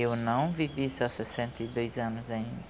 Eu não vivi só sessenta e dois anos ainda.